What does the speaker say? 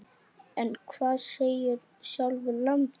En hvað segir sjálfur landinn?